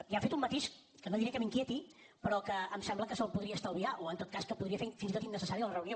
i ha fet un matís que no diré que m’inquieti però que em sembla que se’l podria estalviar o en tot cas que podria fer fins i tot innecessària la reunió